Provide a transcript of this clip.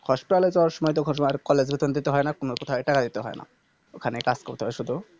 Hospital এ যাওয়ার সময়তো খরচা আর College এর বেতন দিতে হয়না কোনো কোথায় টাকা দিতে হয়না ওখানে কাজ করতে হয় শুধু